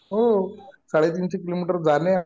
हो साडेतीनशे किलोमीटर जाण्यात